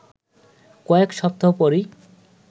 কয়েক সপ্তাহ পরই